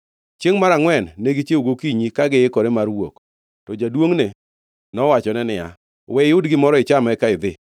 Chiengʼ mar angʼwen ne gichiewo gokinyi ka giikore mar wuok, to jaduongʼne nowachone niya, “We iyud gimoro icham; eka idhi.”